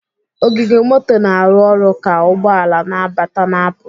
Ogige moto na-arụ ọrụ ka ụgbọ ala na-abata na-apụ.